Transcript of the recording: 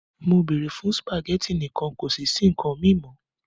Mo beere fun spaghetti nikan kosi si nkan mi mo!